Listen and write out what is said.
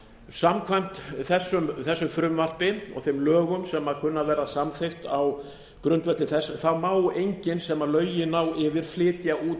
samkvæmt þessu frumvarpi og þeim lögum sem kunna að verða samþykkt á grundvelli þess má enginn sem lögin ná yfir flytja út